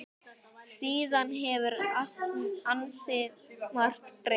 Síðan hefur ansi margt breyst.